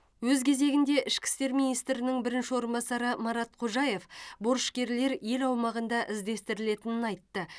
өз кезегінде ішкі істер министрінің бірінші орынбасары марат қожаев борышкерлер ел аумағында іздестірілетінін айтты